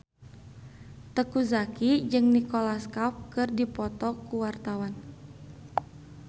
Teuku Zacky jeung Nicholas Cafe keur dipoto ku wartawan